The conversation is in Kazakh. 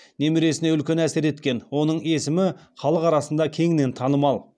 немересіне үлкен әсер еткен оның есімі халық арасында кеңінен танымал